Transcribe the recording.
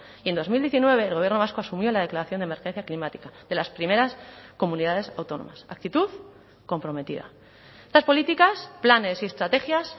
y en dos mil diecinueve el gobierno vasco asumió la declaración de emergencia climática de las primeras comunidades autónomas actitud comprometida estas políticas planes y estrategias